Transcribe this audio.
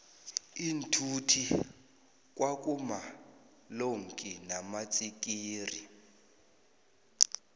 iinthuthi kwa kuma lonki namatsikixi